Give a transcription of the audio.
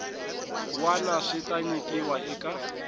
wana swi ta nyikiwa eka